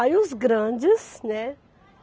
Aí os grandes, né?